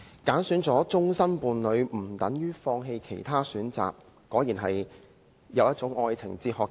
"挑選了終生伴侶，不等於放棄其他選擇"，這果真是陳帆的一種愛情哲學。